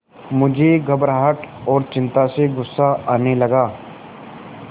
मुझे घबराहट और चिंता से गुस्सा आने लगा